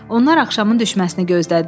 Onlar axşamın düşməsini gözlədilər.